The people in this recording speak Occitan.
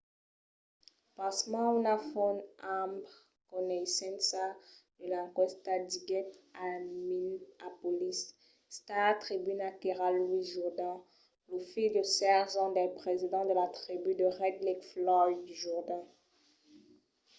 pasmens una font amb coneissença de l'enquèsta diguèt al minneapolis star-tribuna qu'èra louis jourdain lo filh de 16 ans del president de la tribú de red lake floyd jourdain